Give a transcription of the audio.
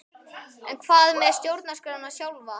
En hvað með stjórnarskrána sjálfa?